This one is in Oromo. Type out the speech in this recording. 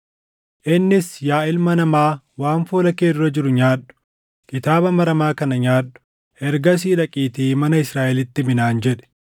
Innis, “Yaa ilma namaa waan fuula kee dura jiru nyaadhu; kitaaba maramaa kana nyaadhu; ergasii dhaqiitii mana Israaʼelitti himi” naan jedhe.